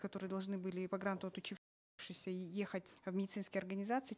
которые должны были по гранту и ехать в медицинские организации